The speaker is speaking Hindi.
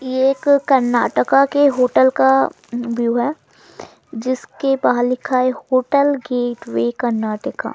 यह एक कर्नाटका के होटल का अअअ व्यू हैं जिसके बाहर लिखा हैं होटल गेटवे कर्नाटका ।